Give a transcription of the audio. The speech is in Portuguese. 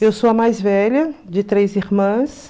Eu sou a mais velha de três irmãs.